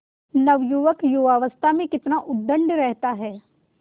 नवयुवक युवावस्था में कितना उद्दंड रहता है